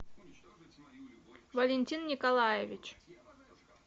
валентин николаевич